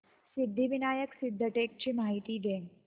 सिद्धिविनायक सिद्धटेक ची मला माहिती दे